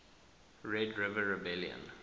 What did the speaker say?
red river rebellion